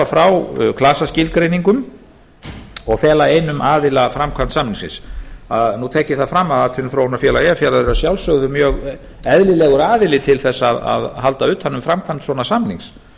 frá klasaskilgreiningum og fela einum aðila framkvæmd samningsins nú tek ég það fram að atvinnuþróunarfélag eyjafjarðar er að sjálfsögðu mjög eðlilegur aðili til þess að halda utan um framkvæmd svona samnings